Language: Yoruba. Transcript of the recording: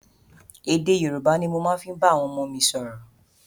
Èdè Yorùbá ni mo ma fi ń bá àwọn ọmọ mi sọ̀rọ̀.